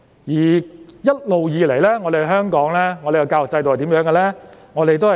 一直以來，我們的教育制度是怎樣的呢？